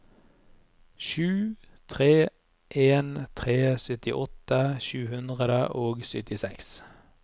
sju tre en tre syttiåtte sju hundre og syttiseks